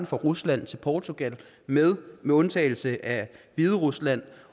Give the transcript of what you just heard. fra rusland til portugal med med undtagelse af hviderusland